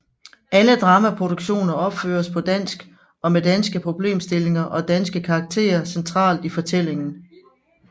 Alle dramaproduktioner opføres på dansk og med danske problemstillinger og danske karakterer centralt i fortællingen